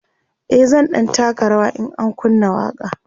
e zan ɗan taka rawa in an kunna waƙa